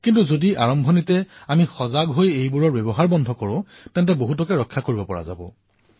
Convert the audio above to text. কিন্তু আৰম্ভণিতেই যদি আমি সজাগ হৈ ইয়াক প্ৰতিৰোধ কৰো তেন্তে বহুখিনি ৰক্ষা কৰিব পাৰি